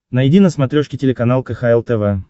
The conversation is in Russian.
найди на смотрешке телеканал кхл тв